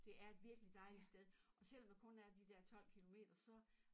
Det er et virkelig dejligt sted og selvom der kun er de der 12 kilometer så